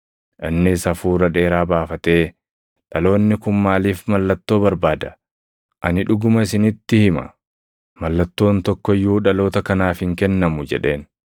Innis hafuura dheeraa baafatee, “Dhaloonni kun maaliif mallattoo barbaada? Ani dhuguma isinitti hima; mallattoon tokko iyyuu dhaloota kanaaf hin kennamu” jedheen.